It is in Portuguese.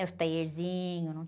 Né? Os taierzinhos,